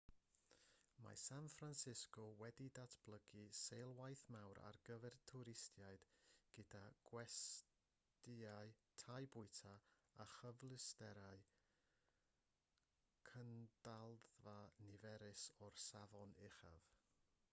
mae san francisco wedi datblygu seilwaith mawr ar gyfer twristiaid gyda gwestyau tai bwyta a chyfleusterau cynadledda niferus o'r safon uchaf